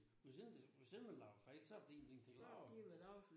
Det jo sådan det jo sådan man laver fejl så hvis ikke man laver